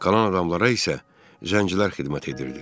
Qalan adamlara isə zəncilər xidmət edirdi.